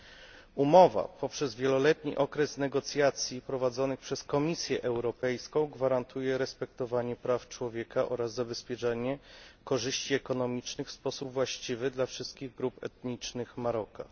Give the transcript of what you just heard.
Dzięki wieloletniemu okresowi negocjacji prowadzonych przez Komisję Europejską umowa ta gwarantuje respektowanie praw człowieka oraz zabezpieczenie korzyści ekonomicznych w sposób właściwy dla wszystkich grup etnicznych Maroka.